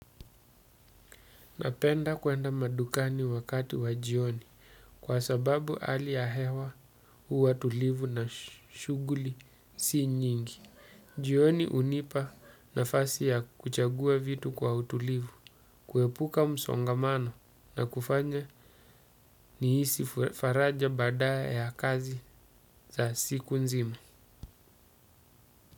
Napenda kwenda madukani wakati wa jioni kwa sababu hali ya hewa huwa tulivu na shughuli si nyingi. Jioni hunipa nafasi ya kuchagua vitu kwa utulivu, kuepuka msongamano na kufanya nihisi faraja baada ya kazi za siku nzima.